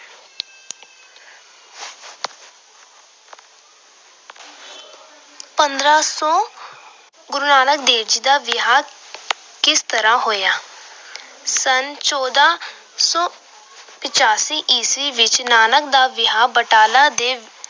ਪੰਦਰਾਂ ਸੌ ਗੁਰੂ ਨਾਨਕ ਦੇਵ ਜੀ ਦਾ ਵਿਆਹ ਕਿਸ ਤਰ੍ਹਾਂ ਹੋਇਆ। ਸੰਨ ਚੌਦਾ ਸੌ ਪਚਾਸੀ ਈਸਵੀ ਵਿੱਚ ਨਾਨਕ ਦਾ ਵਿਆਹ ਬਟਾਲਾ ਦੇ